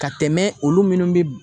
Ka tɛmɛ olu munnu bi